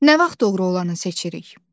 Nə vaxt doğru olanı seçirik?